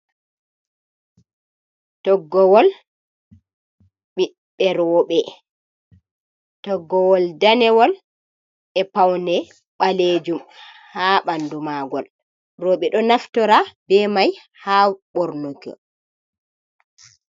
Toggowol ɓiɓɓe roɓe toggowol danewol e paune ɓalejum ha ɓanduma ngol roɓe ɗo naftora be mai ha ɓornuki.